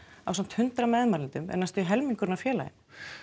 ásamt hundrað meðmælendum er næstum því helmingurinn af félaginu